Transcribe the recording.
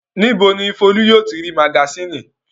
Níbo ni Folú yóò ti rí magasínì?